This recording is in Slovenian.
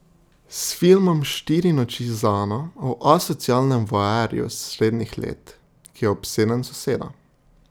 S filmom Štiri noči z Ano o asocialnem voajerju srednjih let, ki je obseden s sosedo.